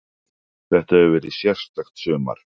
Þetta hefur verið sérstakt sumar.